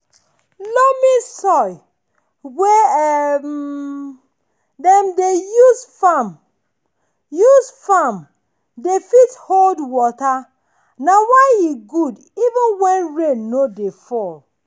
loamy soil wey um dem dey use farm use farm dey fit hold water na why e dey good even when rain no dey fall.